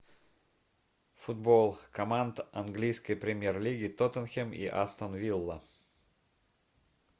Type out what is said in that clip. футбол команд английской премьер лиги тоттенхем и астон вилла